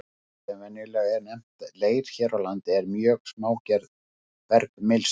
Það sem venjulega er nefnt leir hér á landi er mjög smágerð bergmylsna.